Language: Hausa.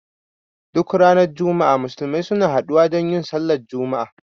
Duk ranar juma'a Musulmi suna haɗu wa don yin Sallar juma'a